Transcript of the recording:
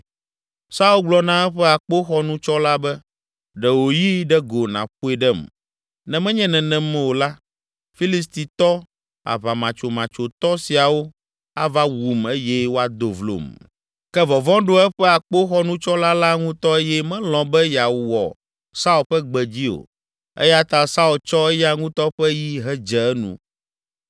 Saul gblɔ na eƒe akpoxɔnutsɔla be, “Ɖe wò yi ɖe go nàƒoe ɖem, ne menye nenem o la, Filistitɔ, aʋamatsomatsoetɔ siawo ava wum eye woado vlom.” Ke vɔvɔ̃ ɖo eƒe akpoxɔnutsɔla la ŋutɔ eye melɔ̃ be yeawɔ Saul ƒe gbe dzi o. Eya ta Saul tsɔ eya ŋutɔ ƒe yi hedze enu.